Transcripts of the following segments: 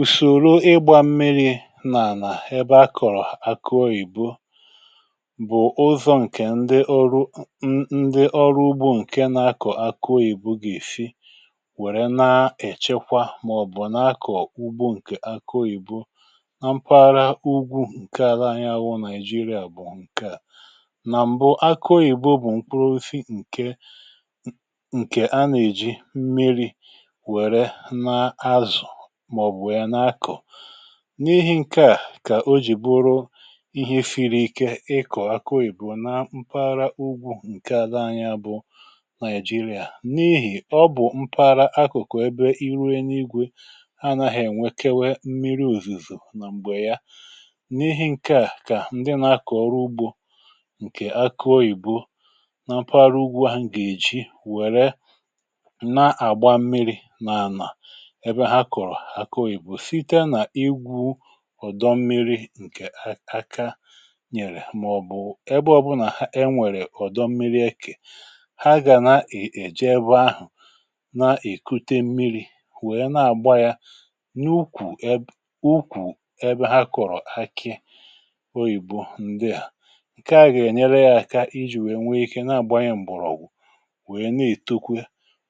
ùsòro ịgbȧ mmiri̇ nà nà ebe akọ̀rọ̀ aki oyìbo bụ̀ ozọ̇ ǹkè ndị ọrụ ndị ọrụ ugbȯ ǹke na-akọ̀ aki oyìbo gà-èfi wère na-èchekwa màọbụ̀ na-akọ̀ ugbo ǹkè aki oyìbo na mpaghara ugwu ǹke ala anya awụ naịjirịa bụ̀ ǹke à na mbụ akụ oyìbo bụ̀ mkpụrụ ofi ǹke ǹke a nà-èji mmiri̇ n’ihi ǹkè a kà o jì bụrụ ihe efiri ike ịkọ̀ akụyìbụ na mpaghara ugwu ǹke àla anya bụ nàịjirịà n’ihi ọ bụ̀ mpaghara akụ̀kụ̀ ebe iruo n’igwė anȧghị̇ ènwekewe mmiri ùzùzù nà m̀gbè ya n’ihi ǹkè a kà ǹdị nà-akọ̀rọ ugbȯ ǹkè akụọ ìbụ́ na mpaghara ugwu a m̀gà-èji wère ǹke agà-ènyere ya aka iji nwèe nwee ike na-agba anya m̀bụ̀rụ̀ ògwù nwèe na-ètekwe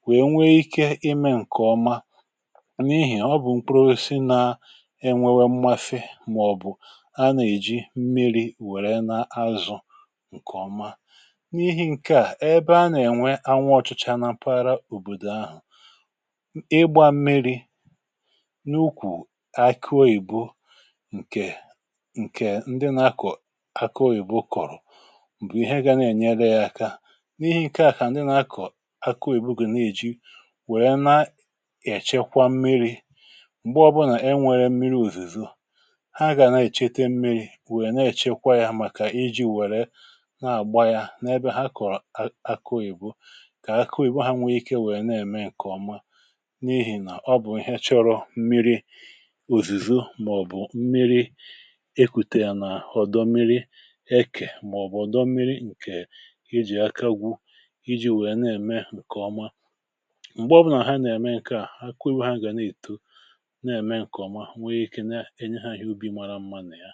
nwèe nwee ike ime ǹkè ọma e nwėwė mmafe màọ̀bụ̀ a nà-èji mmiri̇ wèrè na-azụ̀ ǹkèọma n’ihi ǹke à ebe a nà-ènwe anwụ ọ̀chụcha na mpaghara òbòdò ahụ̀ ịgbȧ mmiri̇ n’ukwù akụ oyìbo ǹkè ǹkè ndị na-akọ akụ oyìbo kọ̀rọ̀ bụ̀ ihe gȧ na-ènyere yȧ aka n’ihi ǹke à kà ndị na-akọ akụ ìbùgè na-èji wèrè na-èchekwa mmiri̇ m̀gbe ọbụnà e nwère mmiri̇ òzùzù ha gà na-èchete mmiri̇ wèe na-èchekwa yȧ màkà iji̇ wèrè na-àgba yȧ n’ebe ha kò akọ̀ghìbụ kà akọ̀ghìbụ ha nwee ikė wèe na-ème ǹkè ọma n’ihì nà ọ bụ̀ ihe chọrọ mmiri̇ òzùzù màọ̀bụ̀ mmiri̇ ekùtè nà ọ̀dọ mmiri̇ ekè màọ̀bụ̀ ọ̀dọ mmiri̇ ǹkè iji̇ akagwụ iji̇ wèe na-ème ǹkè ọma m̀gbe ọbụnà ha na-ème ǹkè a, ha kụru ha gà na-èto enye ha ihe ubi mara mma nà ya